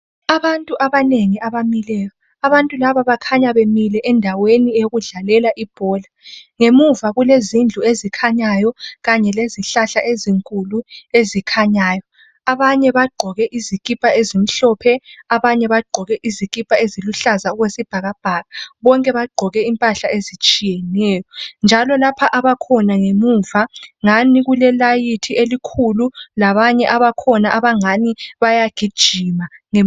Abantu abanengi abamileyo abantu laba bakhanya bemile endaweni yokudlalela ibhola ngemuva kulezindlu ezikhanyayo kanye lezihlahla ezinkulu ezikhanyayo. Abanye bagqoke izikipa ezimhlophe abanye bagqoke izikipa eziluhlaza okwesibhakabhaka. Bonke bagqoke impahla ezitshiyeneyo njalo lapha abakhona ngemuva ngani kulelayithi elikhulu labanye abakhona abangani bayagijima.